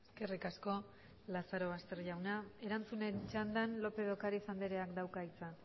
eskerrik asko lazarobaster jauna erantzunen txandan lópez de ocariz andreak dauka hitza